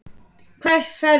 Hvert ferðu?